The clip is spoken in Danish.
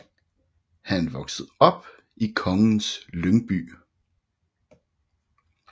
Han voksede op i Kongens Lyngby